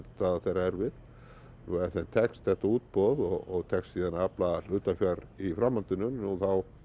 þeirra erfið og ef þeim tekst þetta útboð og tekst síðan að afla hlutafjár í framhaldinu nú þá